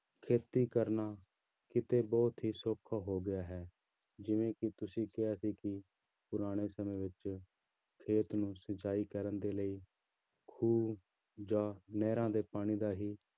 ਖੇਤੀ ਕਰਨਾ ਕਿਤੇ ਬਹੁਤ ਹੀ ਸੌਖਾ ਹੋ ਗਿਆ ਹੈ, ਜਿਵੇਂ ਕਿ ਤੁਸੀਂ ਕਿਹਾ ਸੀ ਕਿ ਪੁਰਾਣੇ ਸਮੇਂ ਵਿੱਚ ਖੇਤ ਨੂੰ ਸਿੰਚਾਈ ਕਰਨ ਦੇ ਲਈ ਖੂਹ ਜਾਂ ਨਹਿਰਾਂ ਦੇ ਪਾਣੀ ਦਾ ਹੀ